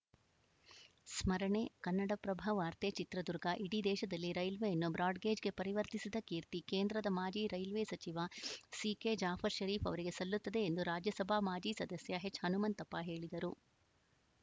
ಸ್ಮರಣೆ ಕನ್ನಡಪ್ರಭವಾರ್ತೆ ಚಿತ್ರದುರ್ಗ ಇಡೀ ದೇಶದಲ್ಲಿ ರೈಲ್ವೆಯನ್ನು ಬ್ರಾಡ್‌ಗೇಜ್‌ಗೆ ಪರಿವರ್ತಿಸಿದ ಕೀರ್ತಿ ಕೇಂದ್ರದ ಮಾಜಿ ರೈಲ್ವೆ ಸಚಿವ ಸಿಕೆಜಾಫರ್‌ ಷರೀಫ್‌ ಅವರಿಗೆ ಸಲ್ಲುತ್ತದೆ ಎಂದು ರಾಜ್ಯಸಭಾ ಮಾಜಿ ಸದಸ್ಯ ಎಚ್‌ಹನುಮಂತಪ್ಪ ಹೇಳಿದರು